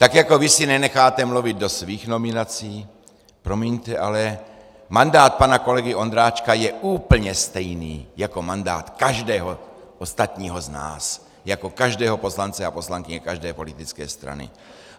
Tak jako vy si nenecháte mluvit do svých nominací, promiňte, ale mandát pana kolegy Ondráčka je úplně stejný jako mandát každého ostatního z nás, jako každého poslance a poslankyně každé politické strany.